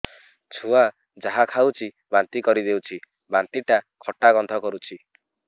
ଛୁଆ ଯାହା ଖାଉଛି ବାନ୍ତି କରିଦଉଛି ବାନ୍ତି ଟା ଖଟା ଗନ୍ଧ କରୁଛି